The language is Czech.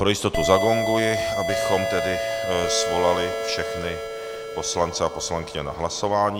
Pro jistotu zagonguji, abychom tedy svolali všechny poslance a poslankyně na hlasování.